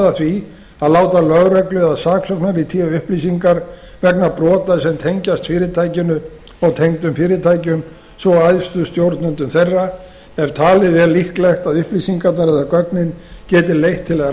að því að láta lögreglu eða saksóknara í té upplýsingar vegna brota sem tengjast fyrirtækinu og tengdum fyrirtækjum svo og æðstu stjórnendum þeirra ef talið er líklegt að upplýsingarnar eða gögnin geti leitt til